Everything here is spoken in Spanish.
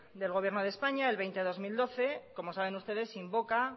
del gobierno de españa el veinte barra dos mil doce como saben ustedes invoca